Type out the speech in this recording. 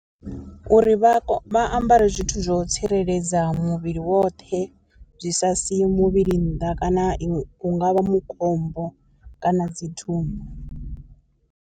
Uri vha ambare zwithu zwo tsireledza muvhili woṱhe zwi sa si muvhili nnḓa kana i hungavha mukombo kana dzi thumbu.